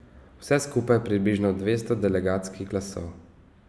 Vse skupaj približno dvesto delegatskih glasov.